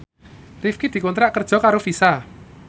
Rifqi dikontrak kerja karo Visa